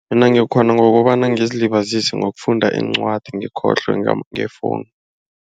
Mina ngiyakghona ngokobana ngizilibazise ngokufunda iincwadi ngikhohlwe ngefowuni.